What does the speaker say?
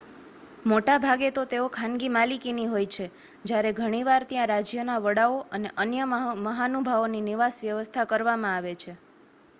મોટાભાગે તો તેઓ ખાનગી માલિકીની હોય છે જયારે ઘણીવાર ત્યાં રાજ્યના વડાઓ અને અન્ય મહાનુભાવોની નિવાસ-વ્યવસ્થા કરવામાં આવે છે